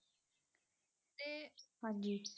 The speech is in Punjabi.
ਹਾਂਜੀ।